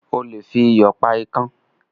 O lè fi iyò pa ikán